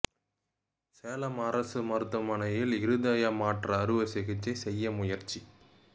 சேலம் அரசு மருத்துவமனையில் இருதய மாற்று அறுவைச் சிகிச்சை செய்ய முயற்சி